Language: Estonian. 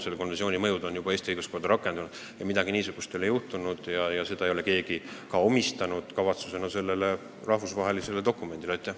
Selle konventsiooni põhimõtteid on juba Eesti õiguskorras rakendatud, aga midagi niisugust ei ole juhtunud ja keegi ei pea seda ka selle rahvusvahelise dokumendi eesmärgiks.